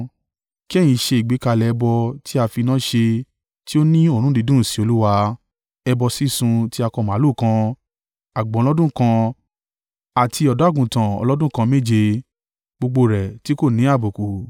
Kí ẹ̀yin ṣe ìgbékalẹ̀ ẹbọ tí a fi iná ṣe tí ó ní òórùn dídùn sí Olúwa, ẹbọ sísun ti akọ màlúù kan, àgbò ọlọ́dún kan àti ọ̀dọ́-àgùntàn ọlọ́dún kan méje, gbogbo rẹ̀ tí kò ní àbùkù.